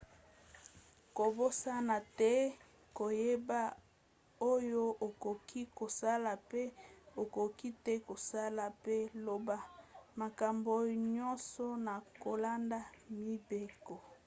kobosana te koyeba oyo okoki kosala mpe okoki te kosala mpe loba makambo nyonso na kolanda mibeko